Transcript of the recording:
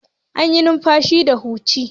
Ana yin numfashi da hanci.